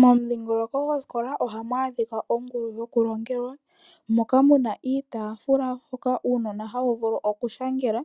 Momudhingoloko gwosikola oha mu adhika oongulu dhokulongelwa moka mu na iitafula hoka uunona hawu vulu okushangela